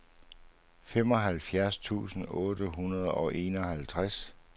femoghalvfjerds tusind otte hundrede og enoghalvtreds